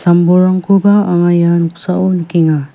am·bolrangkoba anga ia noksao nikenga.